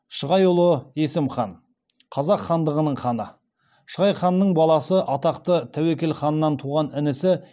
шығайұлы есім хан қазақ хандығының ханы шығай ханның баласы атақты тәуекел ханның туған інісі